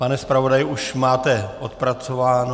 Pane zpravodaji, už máte odpracováno.